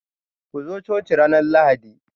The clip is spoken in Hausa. Ku zo coci ranar Lahadi